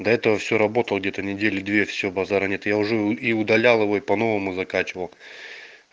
до этого все работал где-то недели две все базара нет я уже и удалял его и по-новому закачивал